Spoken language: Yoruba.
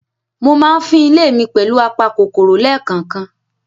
Mo máa ń fín ilé mi pẹ̀lù apa kòkòrò lẹ́kànkan.